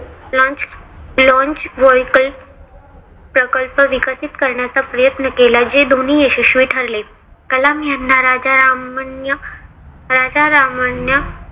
launch vehicle प्रकल्प विकसित करण्याचा प्रयत्न केला. जे दोन्ही यशस्वी ठरले. कलाम यांना राजा रामान्य राजा रामान्य